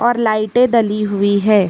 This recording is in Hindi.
और लाइटें डली हुई हैं।